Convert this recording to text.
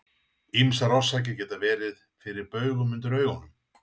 Ýmsar orsakir geta verið fyrir baugum undir augunum.